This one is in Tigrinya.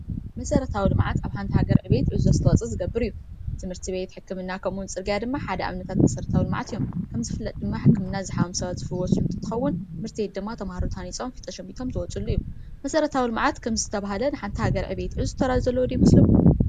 መሰረታዊ ልምዓት ኣብ ሓንቲ ሃገር ዕብየት ዕዙዝ ኣስተዋፅኦ ዝገብር እዩ፡፡ ትምህርት ቤት፣ ሕክምና ከምኡ ድማ ፅርግያ ሓደ ኣብነታት መሰረታዊ ልምዓት እዮም፡፡ ከምዝፍለጥ ሕክምና ዝሓመሙ ሰባት ዝፍወሱሉ እንትኸውን ትምህርት ቤት ድማ ተምሃሮ ተሃኒፆም ፍልጠት ሸሚቶም ዝወፅሉ እዩ፡፡ መሰረታዊ ከምዝተባሃለ ንሓንቲ ሃገር ዕብየት ዕዙዝ ተራ ዘለዎ ዶ ይመስለኩም?